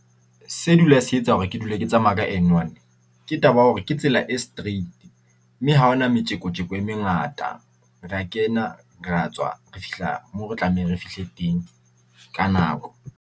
Se dula se etsa hore ke dule ke tsamaya ka N1. Ke taba ya hore ke tsela e straight, mme ha ho na metjeko-tjeko e mengata. Rea kena rea tswa re fihla moo re tlameha re fihle teng ka nako.